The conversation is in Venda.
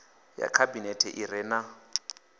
ya khabinete i re na